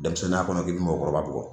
Denmisɛnninya kɔnɔ k'i bi mɔgɔkɔrɔba bugɔ